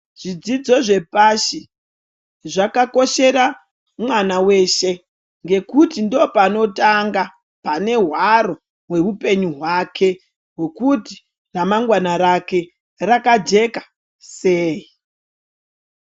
Zvidzidzo zvepashi, zvakakoshere mwana weshe, ngekuti ndopanotanga, pane hwaro hweupenyu hwake, hwokuti ramangwana rake rakajeka sei.